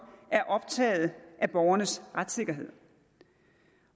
er optaget af borgernes retssikkerhed